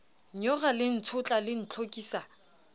nyora le ntshotla le ntlhokisa